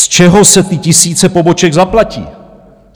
Z čeho se ty tisíce poboček zaplatí?